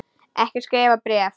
Ég skrifa bréf!